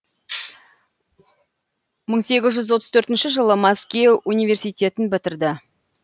мың сегіз жүз отыз төртінші жылы мәскеу университетін бітірді